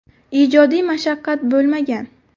Ijodiy mashaqqat bo‘lmagan.